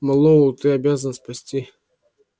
мэллоу ты обязан спасти